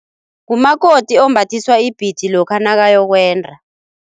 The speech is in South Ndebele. Ngumakoti ombathiswa ibhidi lokha nakayokwenda.